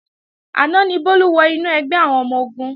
Àná ni Bólú wọ inú ẹgbẹ́ àwọn ọmọ-ogun